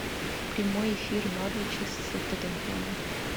прямой эфир норвича с тоттенхэмом